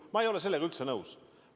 Ma ei ole sellega üldse nõus.